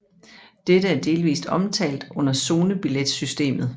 Dette er delvist omtalt under zonebilletsystemet